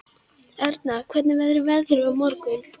Erna, hvernig verður veðrið á morgun?